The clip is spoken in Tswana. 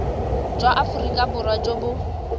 jwa aforika borwa jo bo